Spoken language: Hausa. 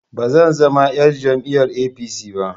Ba zan zama yar jam'iyar APC ba